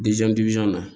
na